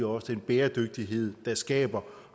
også den bæredygtighed der skaber